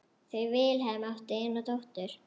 Þau Vilhelm áttu eina dóttur.